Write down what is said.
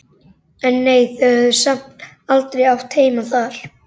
En nei, þau höfðu samt aldrei átt heima þar.